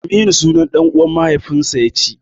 Aminu sunan ɗan'uwan mahaifinsa ya ci.